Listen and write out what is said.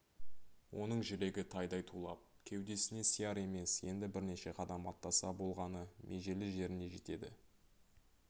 оның жүрегі тайдай тулап кеудесіне сияр емес енді бірнеше қадам аттаса болғаны межелі жеріне жетеді